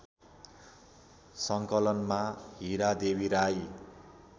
सङ्कलनमा Hiradevi Rai